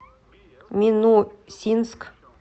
минусинск